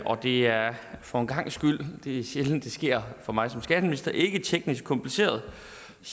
og det er for en gangs skyld det er sjældent det sker for mig som skatteminister ikke teknisk kompliceret